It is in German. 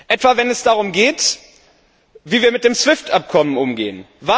Etwa wenn es darum geht, wie wir mit dem SWIFT Abkommen umgehen.